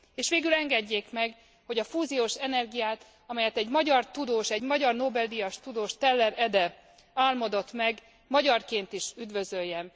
És végül engedjék meg, hogy a fúziós energiát, amelyet egy magyar tudós, egy magyar Nobel díjas tudós, Teller Ede álmodott meg, magyarként is üdvözöljem.